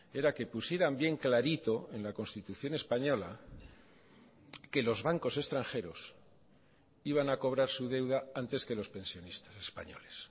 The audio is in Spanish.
era que pusieran bien clarito en la constitución española que los bancos extranjeros iban a cobrar su deuda antes que los pensionistas españoles